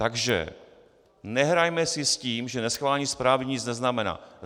Takže nehrajme si s tím, že neschválení zprávy nic neznamená.